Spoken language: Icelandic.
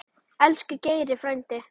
Elsku Geiri frændi.